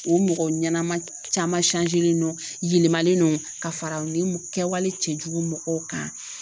O mɔgɔ ɲɛnama caman yɛlɛmalen don ka fara nin kɛwale cɛjugu mɔgɔw kan